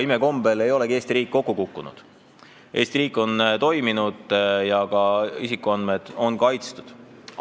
Imekombel ei olegi Eesti riik kokku kukkunud, Eesti riik on toiminud ja ka isikuandmed on olnud kaitstud.